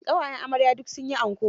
Ƙawayen amarya duk sun yi anko.